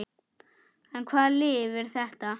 En hvaða lyf er þetta?